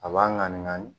A b'a ŋanni